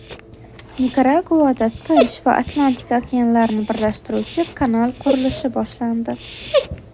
Nikaraguada Tinch va Atlantika okeanlarini birlashtiruvchi kanal qurilishi boshlandi.